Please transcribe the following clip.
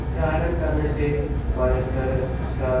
यह आयरन करने से हमारे सर --